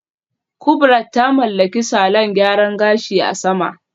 Kubrat ta mallaki salon gyaran gashi a sama